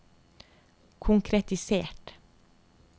konkretisert